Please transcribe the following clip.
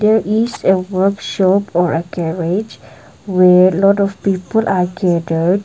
there is a workshop or a garrage where lot of people are gathered.